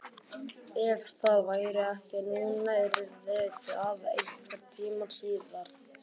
Ef það væri ekki núna yrði það einhvern tíma síðar.